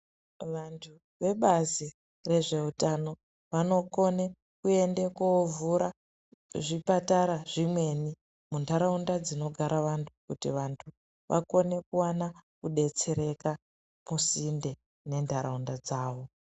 Vantu ve bazi re zveutano vano kona kuende ko vhura zvipatara zvimweni mundaraunda dzinogara vantu kuti vantu vakone kuwana kudetsereka ku sinde ne ndaraunda dzavo.